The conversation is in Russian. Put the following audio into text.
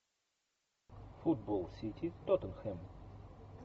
футбол сити тоттенхэм